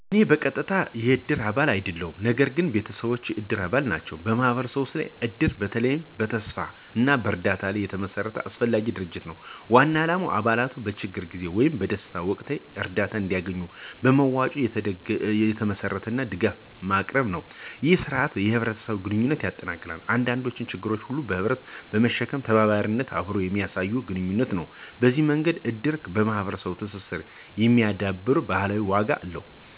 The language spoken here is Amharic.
እኔ በቀጥታ የእድር አባል አይደለሁም፣ ነገር ግን ቤተሰቦቼ የእድር አባላት ናቸው። በማህበረሰቡ ውስጥ እድር በተለይ በተስፋ እና በእርዳታ ላይ የተመሰረተ አስፈላጊ ድርጅት ነው። ዋና ዓላማው አባላቱ በችግር ጊዜ ወይም በደስታ ወቅት እርዳታ እንዲያገኙ በመዋጮ የተመሠረተ ድጋፍ ማቅረብ ነው። ይህ ሥርዓት የህብረትን ግንኙነት ያጠናክራል፣ የአንዱን ችግር ሁሉም በህብረት በመሸከም ተባባሪነትንና አብሮነትን የሚያሳይ ግንኙነት ነው። በዚህ መንገድ እድር የማህበረሰቡን ትስስር የሚያዳብር ባህላዊ ዋጋ አለው።